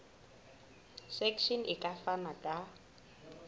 section e ka fana ka